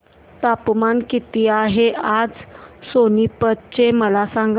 तापमान किती आहे आज सोनीपत चे मला सांगा